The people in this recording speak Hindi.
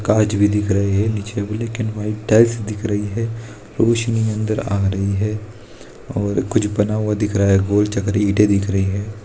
कांच भी दिख रहा है नीचे भी लेकिन व्हाइट टाइल्स दिख रही है रोशनी अंदर आ रही है और कुछ बना हुआ दिख रहा है गोल चकरी इंटे दिख रही है।